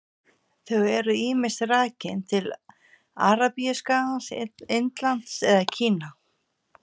Þau eru ýmist rakin til Arabíuskagans, Indlands eða Kína.